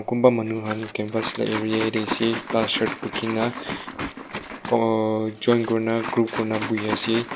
kunba manu han campus la area tey ase ta shirt bukhina ohh join kurina group kurina buhiase.